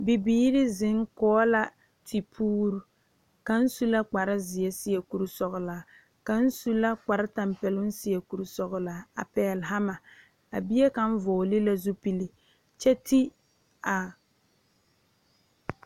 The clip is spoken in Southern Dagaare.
Bibiire zeŋ kɔge la tipuure kaŋ su la kparezeɛ seɛ kurisɔglaa kaŋ su kparetapɛloŋ seɛ kurisɔglaa a pɛgle hama a bie kaŋ vɔgle la zupile kyɛ ti a.